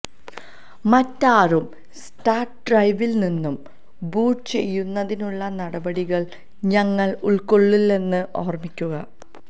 മറ്റൊരു സ്റ്റാർട്ട് ഡ്രൈവിൽ നിന്ന് ബൂട്ട് ചെയ്യുന്നതിനുള്ള നടപടികൾ ഞങ്ങൾ ഉൾക്കൊള്ളില്ലെന്ന് ഓർമിക്കുക